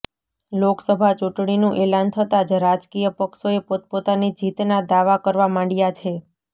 લોકસભા ચૂંટણીનું એલાન થતાં જ રાજકીય પક્ષોએ પોતપોતાની જીતના દાવા કરવા માંડ્યા છે